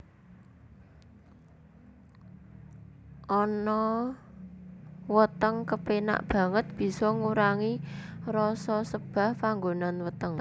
Ana weteng rasane kepenak banget bisa ngurangi rasa sebah panggonan weteng